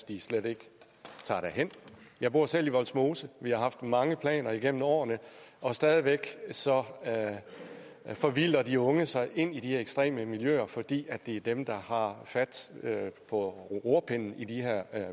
de slet ikke tager derhen jeg bor selv i vollsmose vi har haft mange planer igennem årene og stadig væk forvilder de unge sig ind i de ekstreme miljøer fordi det er dem der har fat på rorpinden i de her